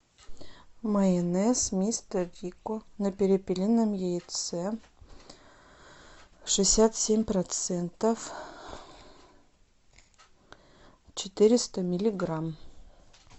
майонез мистер рикко на перепелином яйце шестьдесят семь процентов четыреста миллиграмм